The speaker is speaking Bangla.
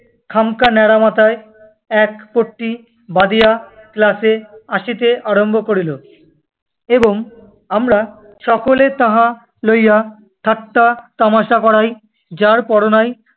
খামখা নেড়া মাথায় এক পট্টি বাঁধিয়া ক্লাসে আসিতে আরম্ভ করিল এবং আমরা সকলে তাহা লইয়া ঠাট্টাতামাশা করায়, যারপরনাই